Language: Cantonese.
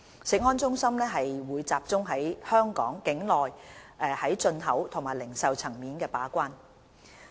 食安中心則集中於香港境內在進口及零售層面把關。